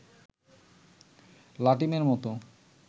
লাটিমের মতো